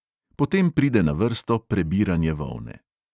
Po tem pride na vrsto prebiranje volne.